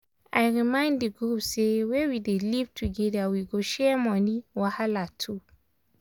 i remind di group say wey we dey live together we go share money wahala too.